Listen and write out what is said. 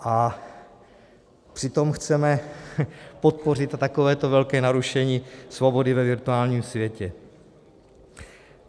A přitom chceme podpořit takovéto velké narušení svobody ve virtuálním světě.